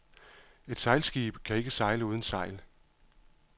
Et sejlskib kan ikke sejle uden sejl.